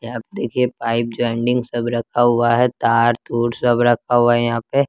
यहां आप देखिए पाइप जॉइंटिंग सब रखा हुआ है तार तूर सब रखा हुआ है यहां पे।